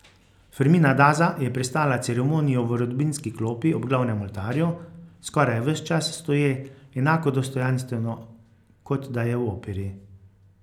Fermina Daza je prestala ceremonijo v rodbinski klopi ob glavnem oltarju, skoraj ves čas stoje, enako dostojanstveno, kot da je v operi.